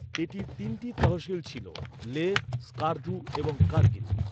এটির তিনটি তহসিল ছিল, লেহ, স্কারদু এবং কার্গিল।